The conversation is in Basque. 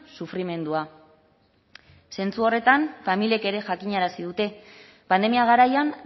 sufrimendua zentzu horretan familiek ere jakinarazi dute pandemia garaian